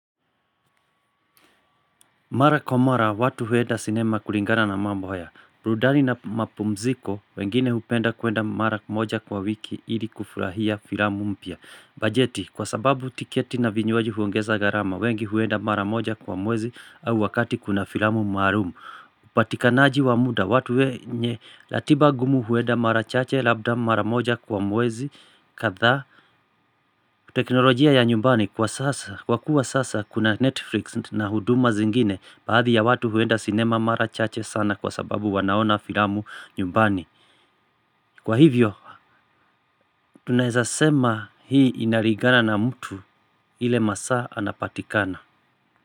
Mara kwa mara, watu huenda sinema kulingana na mambo haya burudani na mapumziko, wengine hupenda kuenda mara moja kwa wiki ili kufurahia filamu mpya. Bajeti, kwa sababu tiketi na vinywaji huongeza gharama, wengi huenda mara moja kwa mwezi au wakati kuna filamu mahalum. Upatikanaji wa muda, watu wenye, ratiba ngumu huenda mara machache labda mara moja kwa mwezi, kadha. Teknolojia ya nyumbani kwa sasa kwa kuwa sasa kuna Netflix na huduma zingine baadhi ya watu huenda cinema mara chache sana kwa sababu wanaona filamu nyumbani kwa hivyo tunawezasema hii inalingana na mtu ile masaa anapatikana.